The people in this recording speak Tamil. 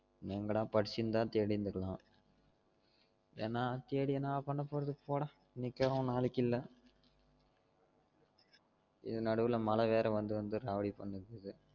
என்னென்கடா படிச்சிருந்தா தேடி இருந்துக்கலாம் எனா தேடி என்னா பன்ன போறது போடா இன்னைக்கு கிழவன் நாளைக்கு இல்ல இது நடுவுல மழை மழை வேற வந்து வந்து ராவடி பண்ணுது